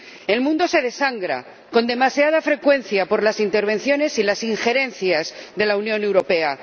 El mundo se desangra, con demasiada frecuencia por las intervenciones y las injerencias de la Unión Europea.